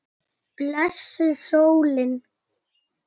Blessuð sólin.